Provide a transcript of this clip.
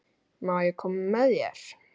Má ég koma með þér?